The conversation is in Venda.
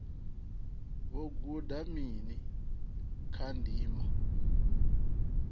vho guda mini kha ndima